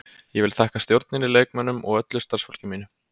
Ég vil þakka stjórninni, leikmönnunum og öllu starfsfólki mínu.